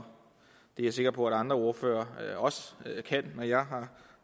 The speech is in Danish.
det er jeg sikker på at andre ordførere også kan når jeg